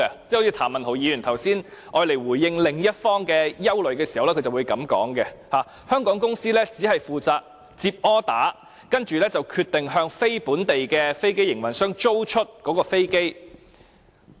就如譚文豪議員剛才回應另一方的憂慮時提到，香港公司只負責接生意，向"非香港飛機營運商"租出飛機。